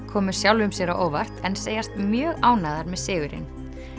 komu sjálfum sér á óvart en segjast mjög ánægðar með sigurinn